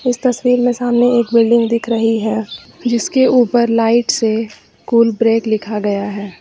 इस तस्वीर में सामने एक बिल्डिंग दिख रही है जिसके ऊपर लाइट से कूल ब्रेक लिखा गया है।